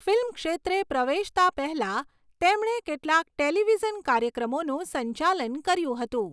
Film ક્ષેત્રે પ્રવેશતાં પહેલાં તેમણે કેટલાક ટેલિવિઝન કાર્યક્રમોનું સંચાલન કર્યું હતું.